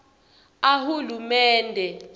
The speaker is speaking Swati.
ahulumende